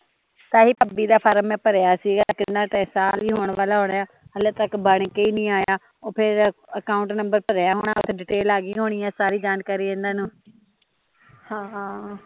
ਤਾਂਹੀਂ ਭਾਬੀ ਦਾ ਫ਼ਾਰਮ ਮੈਂ ਭਰਿਆ ਸੀਗਾ ਕਿ ਓਹਨਾਂ ਦਾ ਤਾਂ ਸਾਲ ਹੀਂ ਹੋਣ ਵਾਲਾ ਹੁਣਾ ਹਲੇ ਤੱਕ ਬਣ ਕੇ ਹੀਂ ਨੀ ਆਇਆ ਓਹ ਫੇਰ ਅਕਾਊਂਟ ਨੰਬਰ ਭਰਿਆ ਹੋਣਾ ਓਥੇ ਡਿਟੇਲ ਆਗੀ ਹੋਣੀ ਐ ਸਾਰੀ ਜਾਣਕਾਰੀ ਏਹਨਾ ਨੂ ਹਮ